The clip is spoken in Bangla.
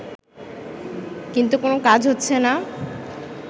কিন্তু কোনো কাজ হচ্ছেনা